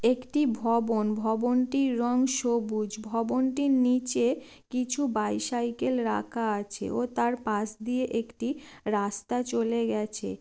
একটি ভবন। ভবনটির রং সবুজ। ভবনটির নিচে কিছু বাইসাইকেল রাখা আছে ও তার পাশ দিয়ে একটি রাস্তা চলে গেছে।